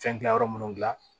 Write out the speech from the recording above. Fɛn gilan yɔrɔ minnu gilan